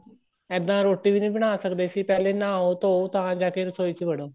ਇੱਦਾਂ ਰੋਟੀ ਵੀ ਨਹੀਂ ਬਣਾ ਸਕਦੇ ਸੀ ਪਹਿਲੇ ਨਹਾਓ ਧੋਹ ਤਾਂ ਜਾਕੇ ਰਸੋਈ ਚ ਵੜੋ